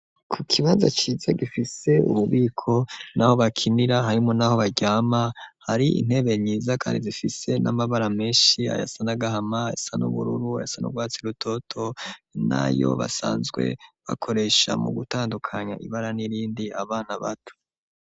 Ku kibanza ciza gifise ububiko n'aho bakinira, harimwo n'aho baryama, hari intebe nziza kandi zifise n'amabara menshi: ayasa n'agahama, ayasa n'ubururu, ayasa n'urwatsi rutoto, nayo basanzwe bakoresha mu gutandukanya ibara n'irindi, abana bato.